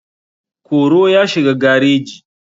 koro ya shiga gareji.